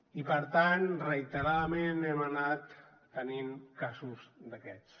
i per tant reiteradament hem anat tenint casos d’aquests